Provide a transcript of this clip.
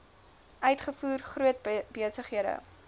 uitvoer groot besighede